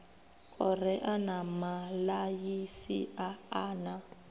korea na malaysia a na